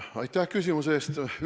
Aitäh küsimuse eest!